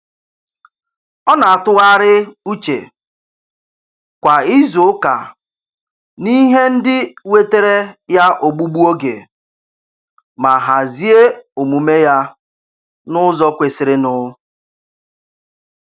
Ọ na-atụgharị uche kwa izuụka n'ihe ndị wetere ya ogbugbu oge, ma hazie omume ya n'ụzọ kwesirinụ.